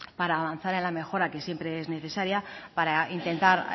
para avanzar en la mejora que siempre es necesaria para intentar